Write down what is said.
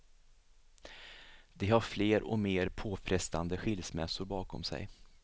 De har fler och mer påfrestande skilsmässor bakom sig.